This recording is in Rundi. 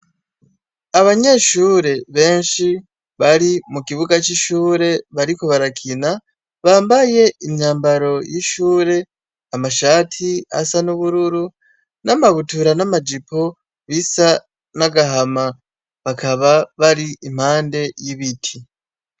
Abanyeshuri benshi bari mu kibuga c'ishure bariko barakina bambaye imyambaro y'ishure, amashati asa n'ubururu n'amabutura n'amajipo bisa n'agahama, bakaba bari impande y'ibiti.